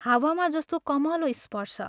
हावामा जस्तो कमलो स्पर्श।